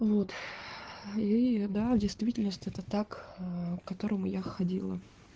вот и да действительность это так ээ к которому я ходила